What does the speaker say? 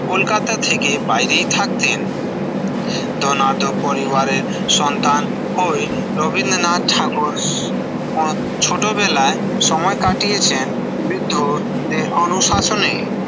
কলকাতা থেকে বাইরেই থাকতেন দোনাদো পরিবারের সন্তান হয়ে রবীন্দ্রনাথ ঠাকুর অ ছোটবেলায় সময় কাটিয়েছেন বৃদ্ধদের অনুশাসনে